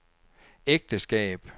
ægteskab